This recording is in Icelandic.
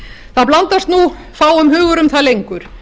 það blandast nú fáum hugur um það lengur